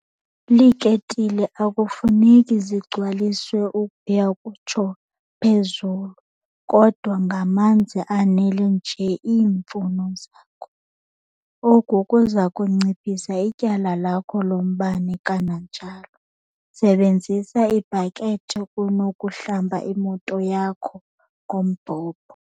Iiketile akufuneki zigcwaliswe ukuya kutsho phezulu kodwa ngamanzi anele nje iimfuno zakho. Oku kuza kunciphisa ityala lakho lombane kananjalo. Sebenzisa ibhakethi kunokuhlamba imoto yakho ngombhobho.